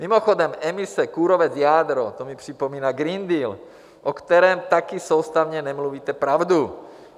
Mimochodem, emise, kůrovec, jádro, to mi připomíná Green Deal, o kterém taky soustavně nemluvíte pravdu.